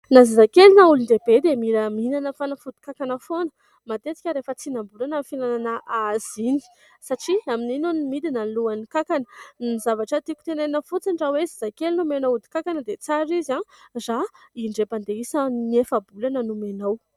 Na zazakely na olon-dehibe dia mila mihinana fanafodin-kankana foana. Matetika rehefa tsinam-bolana no fihinanana azy iny satria amin'iny no midina ny lohan'ny kankana. Ny zavatra tiako tenenina fotsiny raha hoe zazakely no omenao odin-kankana dia tsara izy raha indray mandeha isaky ny efa-bolana no omenao.